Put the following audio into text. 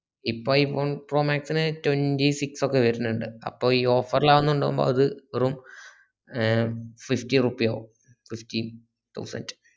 ഇപ്പൊ i phone pro max ന് twentysix ഒക്കെ വരുണിൻഡ് അപ്പൊ ഈ offer ലാവ്‍ന്നോണ്ട് അത് വെറും ഏ fifty റുപ്പീ ആവും fifteen thousand